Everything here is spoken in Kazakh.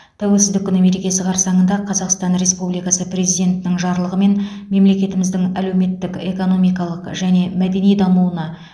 тәуелсіздік күні мерекесі қарсаңында қазақстан республикасы президентінің жарлығымен мемлекетіміздің әлеуметтік экономикалық және мәдени дамуына